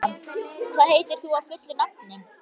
Kalmara, hvað heitir þú fullu nafni?